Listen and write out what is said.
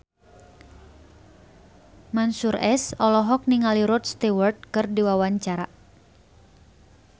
Mansyur S olohok ningali Rod Stewart keur diwawancara